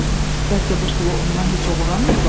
Bəlkə bu pulu ondan heç uğurlamayıblar?